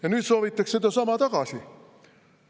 Ja nüüd soovitakse sedasama tagasi.